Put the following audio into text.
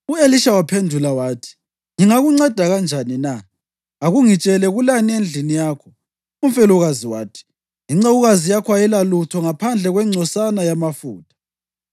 U-Elisha wamphendula wathi, “Ngingakunceda kanjani na? Akungitshele, kulani endlini yakho?” Umfelokazi wathi, “Incekukazi yakho ayilalutho ngaphandle kwengcosana yamafutha.”